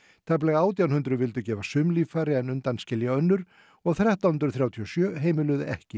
tæplega átján hundruð vildu gefa sum líffæri en undanskilja önnur og þrettán hundruð þrjátíu og sjö heimiluðu ekki